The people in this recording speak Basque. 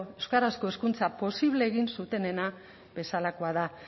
euskarazko hezkuntza posible egin zutenena bezalakoa da